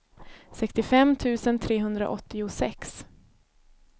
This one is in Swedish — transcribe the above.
sextiofem tusen trehundraåttiosex